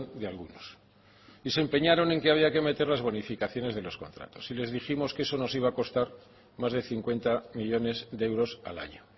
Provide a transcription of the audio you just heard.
de algunos se empeñaron en que había que meter las bonificaciones de los contratos y les dijimos que eso nos iba a costar más de cincuenta millónes de euros al año